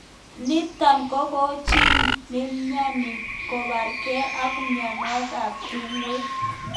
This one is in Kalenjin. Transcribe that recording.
Nitok kokochin chi nemnyani kobarkei ak mnyenotok bo tungwek.